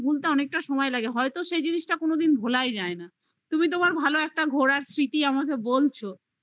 আমাদের ভুলতে অনেকটা সময় লাগে হয়তো সেই জিনিসটা কোনদিন ভোলাই যায় না তুমি তোমার ভালো একটা ঘোরার স্মৃতি আমাকে বলছো